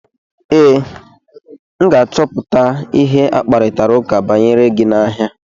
Ee, m ga-achọpụta ihe akparitara ụka banyere gị n'ahịa.